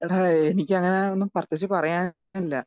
Speaker 2 എടാ എനിക്ക് അങ്ങനെ ഒന്നും പ്രത്യേകിച്ച് പറയാനില്ല.